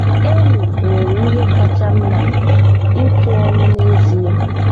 Any nwere ihe kacha mma ịtụ ọnụ n'ezie.